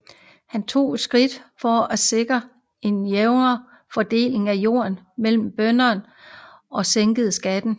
Han tog skridt for at sikre en jævnere fordeling af jord mellom bønderne og sænkede skatterne